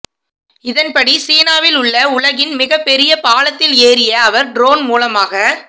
இதன்படி சீனாவில் உள்ள உலகின் மிகப்பெரிய பாலத்தில் ஏறிய அவர் ட்ரோன் மூலமாக